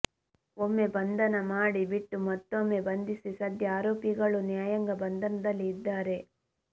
ಒಮ್ಮೆ ಬಂಧನ ಮಾಡಿ ಬಿಟ್ಟು ಮತ್ತೊಮ್ಮೆ ಬಂಧಿಸಿ ಸದ್ಯ ಆರೋಪಿಗಳು ನ್ಯಾಯಾಂಗ ಬಂಧನದಲ್ಲಿ ಇದ್ದಾರೆ